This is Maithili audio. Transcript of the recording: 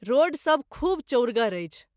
रोड सभ खूब चौरगर अछि।